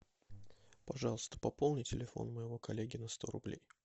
пожалуйста пополни телефон моего коллеги на сто рублей